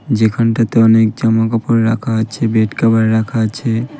যেখানটাতে অনেক জামা কাপড় রাখা আছে বেড কাভার রাখা আছে ।